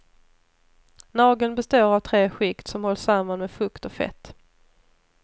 Nageln består av tre skikt som hålls samman med fukt och fett.